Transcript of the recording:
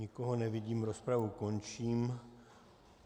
Nikoho nevidím, rozpravu končím.